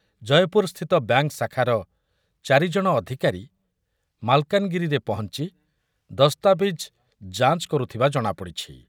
ଜୟପୁରସ୍ଥିତ bank ଶାଖାର ଚାରି ଜଣ ଅଧିକାରୀ ମାଲକାନଗିରିରେ ପହଞ୍ଚି ଦସ୍ତାବିଜ୍ ଯାଞ୍ଚ୍ କରୁଥିବା ଜଣାପଡ଼ିଛି ।